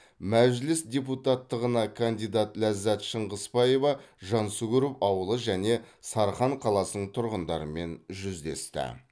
мәжіліс депутаттығына кандидат ләззат шыңғысбаева жансүгіров ауылы және сарқан қаласының тұрғындарымен жүздесті